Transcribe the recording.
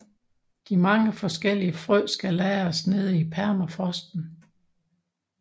De mange forskellige frø skal lagres nede i permafrosten